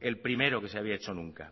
el primero que se había hecho nunca